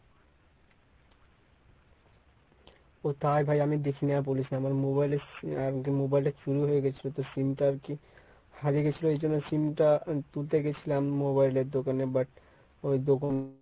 ও তাই ভাই আমি দেখি নি আর বলিস না আমার mobile এ mobile টা চুরি হয়ে গেছিল তো sim টা আরকি হারিয়ে গেছিল এই জন্যে sim টা তুলতে গেছিলাম mobile এর দোকানে but ওই দোকান